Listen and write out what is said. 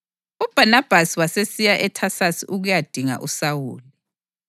UBhanabhasi wasesiya eThasasi ukuyadinga uSawuli.